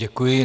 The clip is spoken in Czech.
Děkuji.